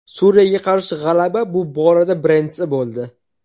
Suriyaga qarshi g‘alaba bu borada birinchisi bo‘ldi.